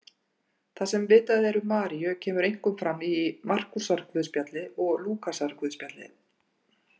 Það sem vitað er um Maríu kemur einkum fram í Markúsarguðspjalli og Lúkasarguðspjalli.